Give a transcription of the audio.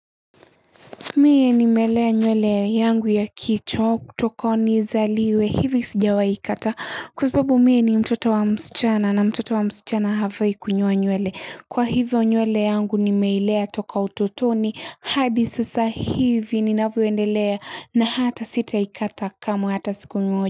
Mie ni melea nywele yangu ya kichwa kutoka nizaliwe hivi sijawahi kata ah kwa sababu mie ni mtoto wa msichana na mtoto wa msichana hafai kunyoa nywele kwa hivo nywele yangu nimeilea toka utotoni hadi sasa hivi ninavyoendelea na hata sita ikata kamwe hata siku moja.